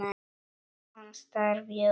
Hann starði á mig.